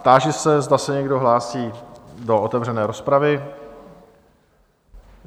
Táži se, zda se někdo hlásí do otevřené rozpravy?